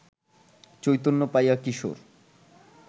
চৈতন্য পাইয়া কিশোর